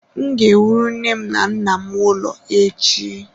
M ga-ewuru nne na nna m ụlọ echi.